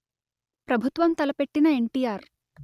ప్రభుత్వం తలపెట్టిన ఎన్టిఆర్